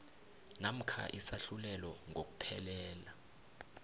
namkha isahlulelo ngokuphelela